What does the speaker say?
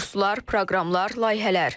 Kurslar, proqramlar, layihələr.